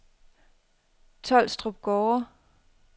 Tolstrup Gårde